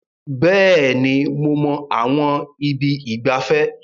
Bẹ́ẹ̀ni, mo mọ àwọn ibi ìgbafẹ́.